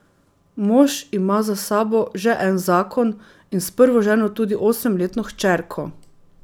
Mož ima za sabo že en zakon in s prvo ženo tudi osemletno hčerko.